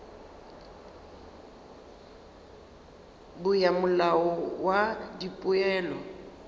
bo ya molao wa dipoelo